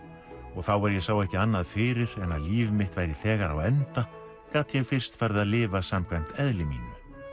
og þá er ég sá ekki annað fyrir en að líf mitt væri þegar á enda gat ég fyrst farið að lifa samkvæmt eðli mínu